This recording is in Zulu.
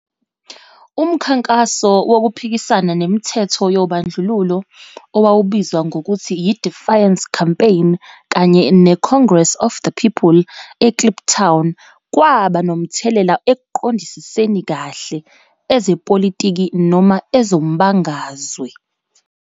Umkhankaso Wokuphikisana nemithetho yobandlululo owawubizwa ngokuthi yi-Defiance Campaign kanye neCongress of the People eKliptown kwaba nomthelela ekuqondisiseni kahle ezepolitiki noma ezombangazwe